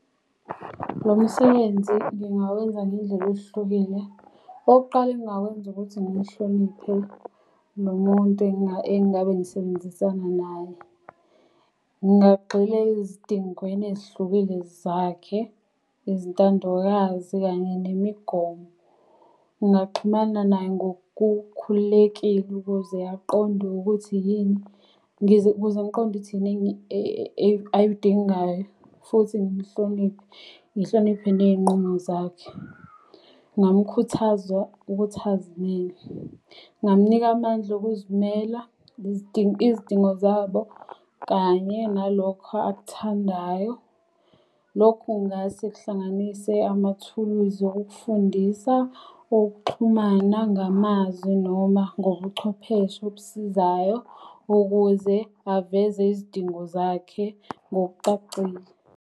Lo msebenzi ngingawenza ngendlela ehlukile. Okokuqala engingakwenza ukuthi ngimhloniphe nomuntu engabe ngisebenzisana naye. Ngingagxila ezidingweni ezihlukile zakhe, izintandokazi kanye nemigomo. Ngingaxhumana naye ngokukhululekile ukuze aqonda ukuthi yini ukuze ngiqondo ukuth yini ayidingayo futhi ngimhloniphe. Ngihloniphe ney'nqumo zakhe. Ngingamukhuthaza ukuthi azimele, ngingam'nika amandla okuzimela, izidingo zabo kanye nalokho akuthandayo. Lokhu kungase kuhlanganise amathuluzi okufundisa, okuxhumana ngamazwi, noma ngobuchwepheshe obusizayo ukuze aveze izidingo zakhe ngokucacile.